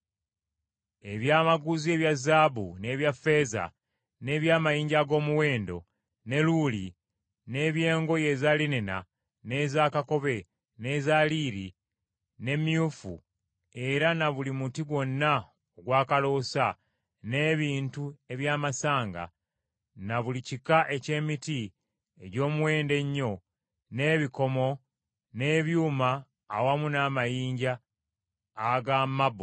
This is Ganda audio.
Ebyamaguzi ebya zaabu, n’ebya ffeeza, n’eby’amayinja ag’omuwendo, ne luulu, n’eby’engoye eza linena, n’eza kakobe, n’eza liiri, n’emyufu era na buli muti gwonna ogwa kaloosa, n’ebintu eby’amasanga, na buli kika eky’emiti egy’omuwendo ennyo, n’ebikomo, n’ebyuma awamu n’amayinja aga mabbo;